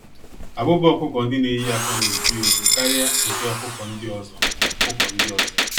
Abụba ọkụkọ-ndị-neyi-ákwà n'eju-eju karịa nke ọkụkọ ndị ọzọ. ọkụkọ ndị ọzọ.